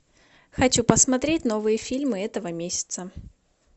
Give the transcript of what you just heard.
хочу посмотреть новые фильмы этого месяца